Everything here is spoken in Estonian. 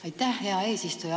Aitäh, hea eesistuja!